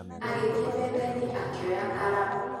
Agĩthiĩ methainĩ akĩoya karamu